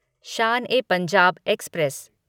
Shaan e Punjab express